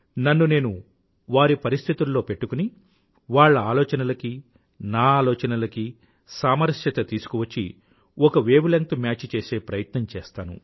నన్ను నేను వారి పరిస్థితుల్లో పెట్టుకుని వాళ్ల ఆలోచనలకీ నా ఆలోచనలకి సామరస్యత తీసుకువచ్చి ఒక వేవ్ లెంగ్త్ మ్యాచ్ చేసే ప్రయత్నం చేస్తాను